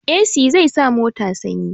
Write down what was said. Esi zai sa mota sanyi